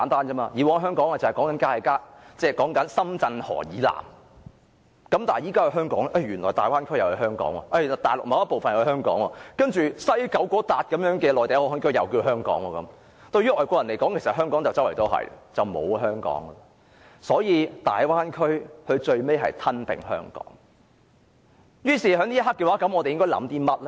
以往香港是指深圳河以南的地方，但現在原來大灣區也是香港，大陸某個部分也是香港，西九龍的內地口岸區也是香港，對於外國人而言，四處也可以是香港，那麼便等於不再有香港了。